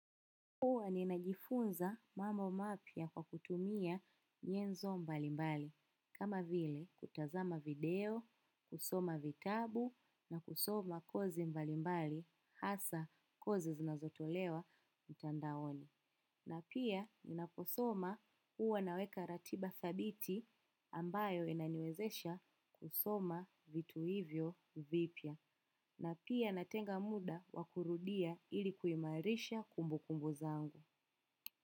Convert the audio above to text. Huwa ninajifunza mambo mapya kwa kutumia nyenzo mbalimbali, kama vile kutazama video, kusoma vitabu na kusoma kozi mbalimbali hasa kozi zinazotolewa mtandaoni. Na pia ninaposoma huwa naweka ratiba thabiti ambayo inaniwezesha kusoma vitu hivyo vipya. Na pia natenga muda wa kurudia ili kuimarisha kumbukumbu zangu.